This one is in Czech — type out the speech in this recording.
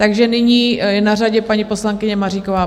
Takže nyní je na řadě paní poslankyně Maříková.